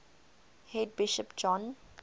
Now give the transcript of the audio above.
head bishop john